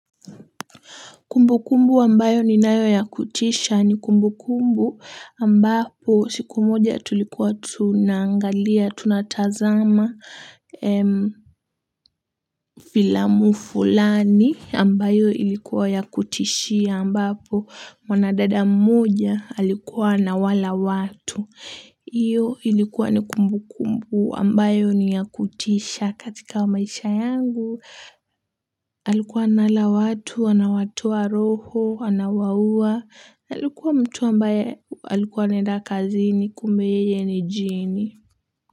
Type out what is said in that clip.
Kumbu kumbu ambayo ninayo ya kutisha ni kumbukumbu ambapo siku moja tulikuwa tunaangalia, tunatazama filamu fulani ambayo ilikuwa ya kutishia ambapo wanadada moja alikuwa anawala watu. Iyo ilikuwa ni kumbu kumbu ambayo ni ya kutisha katika wa maisha yangu. Alikuwa anala watu, anawatoa roho, anawaua, alikuwa mtu ambaye alikuwa anenda kazini kumbe yeye ni jini.